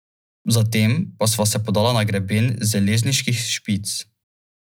V naslednjih tednih je med nama poromalo še nekaj spoznavne pošte, zatem pa sva se podala na greben Zeleniških špic.